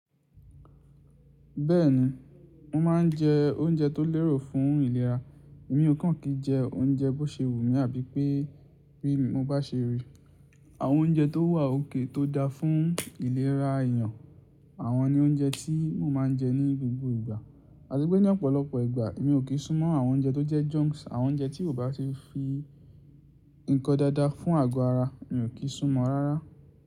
Bẹ́ẹ̀ni, mo ma n je oúnjẹ tó lérò fún ìlera. Èmi o kan kí jẹ oúnjẹ bó ṣe wù mí ábí pé bí mo bá ṣe rí. Àwọn oúnjẹ tó wà okay tó da fún ìlera èèyàn, àwọn ni oúnjẹ tí mo ma n jẹ ní gbogbo ìgbà. Àti pé ní ọ̀pọ̀lọpọ̀ ìgbà èmi ò kí súnmọ́ àwọn oúnjẹ tó jẹ́ junks. Àwọn oúnjẹ tí ò bá ṣe fi nǹkan dáadáa fún àago aara, mi ò kí súnmọ́ rárá.